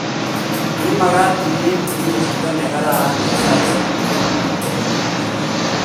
Imakat ieku chitu nee kararan saisiek tugul eng bik tugul.